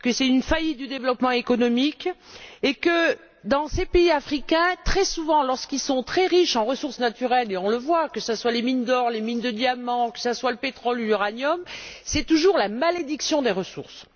une faillite du développement économique et que, dans ces pays africains, très souvent lorsqu'ils sont très riches en ressources naturelles et on le voit, que ce soit les mines d'or, celles de diamant, le pétrole ou l'uranium c'est toujours la malédiction des ressources.